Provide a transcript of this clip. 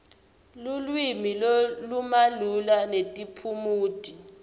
lulwimi lolumalula netiphumuti